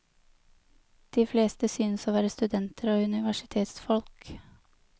De fleste synes å være studenter og universitetsfolk.